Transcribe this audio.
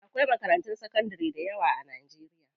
Akwai makarantun sakandari dayawa a Najeriya.